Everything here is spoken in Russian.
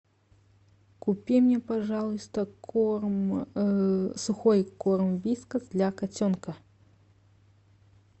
купи мне пожалуйста корм сухой корм вискас для котенка